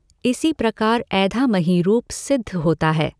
इसी प्रकार ऐधामहि रूप सिद्ध होता है।